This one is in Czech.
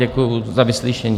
Děkuji za vyslyšení.